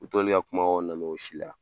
U t'olu y'a kumakanw lamɛn o si la